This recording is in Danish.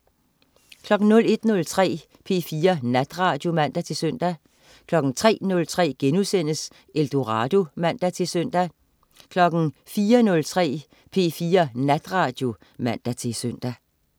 01.03 P4 Natradio (man-søn) 03.03 Eldorado* (man-søn) 04.03 P4 Natradio (man-søn)